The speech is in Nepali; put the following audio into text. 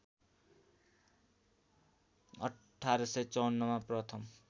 १८५४ मा प्रथम